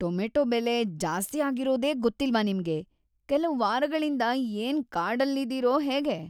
Tomato ಬೆಲೆ ಜಾಸ್ತಿಯಾಗಿರೋದೇ ಗೊತ್ತಿಲ್ವಾ ನಿಮ್ಗೆ? ಕೆಲ್ವ್‌ ವಾರಗಳಿಂದ ಏನ್‌ ಕಾಡಲ್ಲಿದೀರೋ ಹೇಗೆ?!